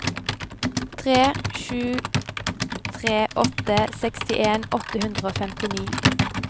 tre sju tre åtte sekstien åtte hundre og femtini